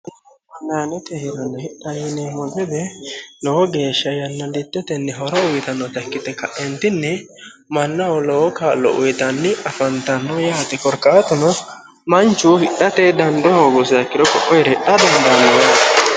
Online hidha gade yineemmo woyte lowo geeshsha yanilichoteni horo uyittanotta ikkite kaentinni mannaho lowo kaa'lo uyittanni afantano yaate korkaatuno manchu hidhate daando hoogusiha ikkiro ko'o heere hidha dandaano.